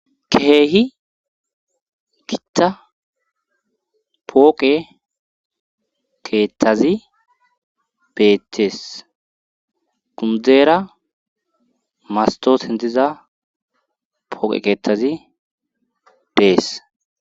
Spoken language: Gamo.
Keehi gitta pooqe keettazi beetees undzeera masto hintiza pooqe keettazi dees.